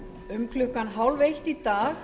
um klukkan tólf þrjátíu í dag